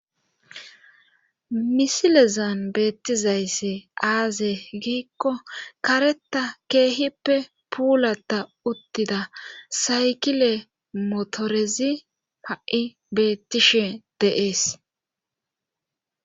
Misilezan beettizaysse aaze giikko kareta keehippe puulata uttida saykile motorezi ha7i beettishe deees.